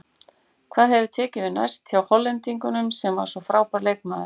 Hvað tekur við næst hjá Hollendingnum sem var svo frábær leikmaður?